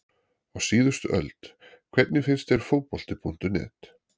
Á síðustu öld Hvernig finnst þér Fótbolti.net?